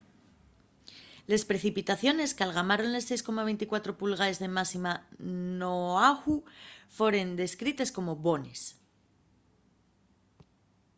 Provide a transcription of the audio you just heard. les precipitaciones qu'algamaron les 6,24 pulgaes de máxima n'oahu foren descrites como bones